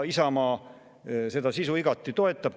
Isamaa seda sisu igati toetab.